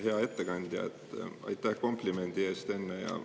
Hea ettekandja, aitäh enne tehtud komplimendi eest!